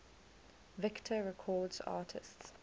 victor records artists